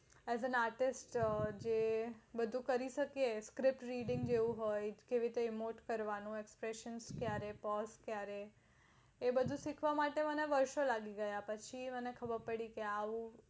as an artist બધું કરી શકીયે script reading જેવું હોઈ કેવી રીતે કરવાનું બધું શીઆપણે વર્ષો લાગી જાય પછી મને ખબર પડી